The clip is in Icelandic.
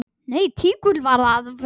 Nei, tígull skal það vera.